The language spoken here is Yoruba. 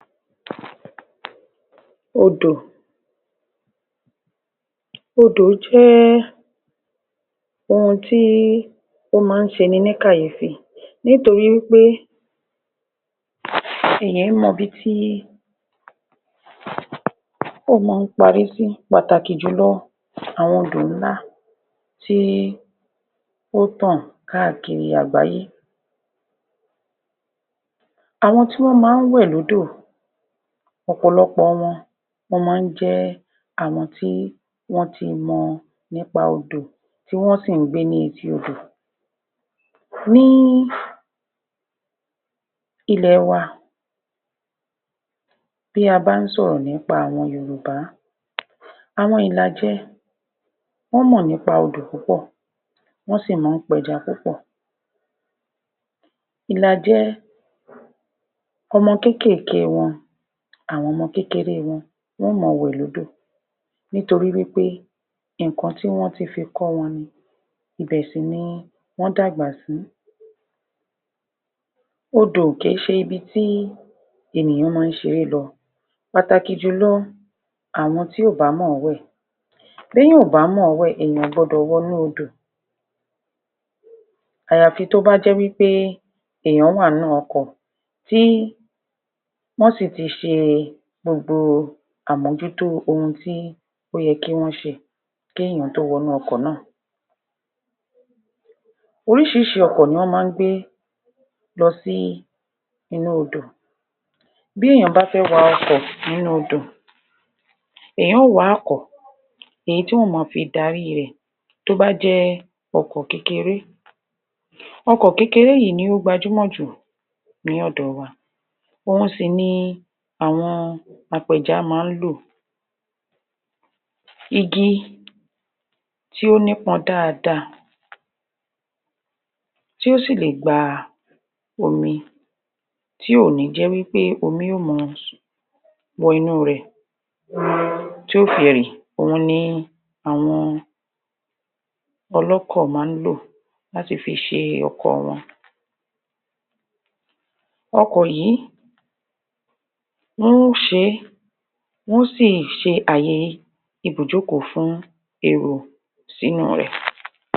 Odò, odò jẹ́ ohun tí ó máa ń ṣeni ní kàyéfì nítorí wí pé èèyan é mọ'bi tí ó mọ́-ọn ń parí sí, pàtàkì jùlọ̀ àwọn odò ńlá tí ó tàn káàkiri àgbáyé. Àwọn tí wọ́n máa ń wẹ̀ lódò ọ̀pọ̀lọpọ̀ wọn wọ́n máa ń jẹ́ àwon tí wọ́n ti mọ̀ nípa odò tí wọ́n sì ń gbé ní etí odò. Ní ilẹ̀-ẹwa bí a bá ń sòrọ̀ nípa àwọn Yorùbá àwọn Ìlàjẹ wọ́n mọ̀ nípa odò púpọ̀ wọ́n sì mọ́ ń pẹja púpọ̀ Ìlàjẹ ọmọ kékèké wọn àwọn ọmọ kékeré wọn, wọn ó mọ wẹ̀ lódò nítorí wí pé nǹkan tí wọ́n ti fi kọ́ wọn ni ibẹ̀ sì ni wọ́n dàgbà sí odò kèé ṣe ibi tí ènìyàn máa ń ṣeré lọ pàtàkì jùlọ àwọn tí ò bá mọ̀-ọ́n wẹ̀ b'éèyàn ò bá mọ̀-ọ́n wẹ̀, èèyàn ò gbọdọ̀ wọnú odò àyàfi tó bá jẹ́ wí pé èèyàn wa n nú ọkọ̀ tí wọ́n sì ti ṣe gbogbo àmójútó ohun tí ó yẹ kí wọ́n ṣe kí èèyàn ó tó wọnú ọkọ̀ náà. Oríṣiríṣi ọkọ̀ ni ọ́n máa ń gbé lọ sí inú odò